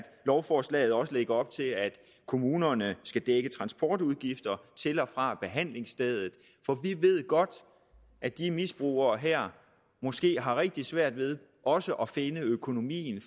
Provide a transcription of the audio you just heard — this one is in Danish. lovforslaget også lægger op til at kommunerne skal dække transportudgifter til og fra behandlingsstedet for vi ved godt at de misbrugere her måske har rigtig svært ved også at finde økonomien